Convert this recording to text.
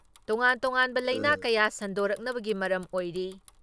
ꯇꯣꯉꯥꯟ ꯇꯣꯉꯥꯟꯕ ꯂꯥꯏꯅꯥ ꯀꯌꯥ ꯁꯟꯗꯣꯔꯛꯅꯕꯒꯤ ꯃꯔꯝ ꯑꯣꯏꯔꯤ ꯫